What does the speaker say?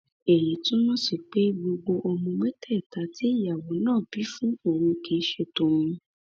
èyí túmọ sí pé gbogbo ọmọ mẹtẹẹta tí ìyàwó náà bí fún òun ni kì í ṣe tòun